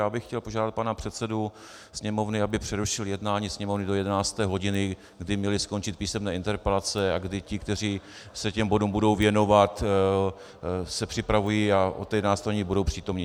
Já bych chtěl požádat pana předsedu Sněmovny, aby přerušil jednání Sněmovny do 11. hodiny, kdy měly skončit písemné interpelace a kdy ti, kteří se těm bodům budou věnovat, se připravují a od 11. hodiny budou přítomni.